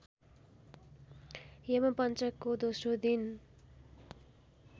यमपञ्चकको दोस्रो दिन